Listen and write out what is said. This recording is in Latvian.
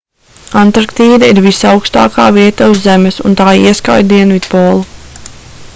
antarktīda ir visaukstākā vieta uz zemes un tā ieskauj dienvidpolu